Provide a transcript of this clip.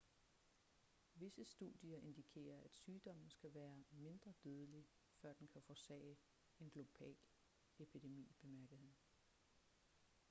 visse studier indikerer at sygdommen skal være mindre dødelig før den kan forårsage en global epidemi bemærkede han